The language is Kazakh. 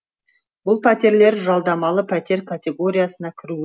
бұл пәтерлер жалдамалы пәтер категориясына кіруі